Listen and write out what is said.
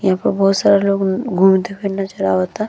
यहां पर बहुत सारा लोग घूमते फिरते चल आवता।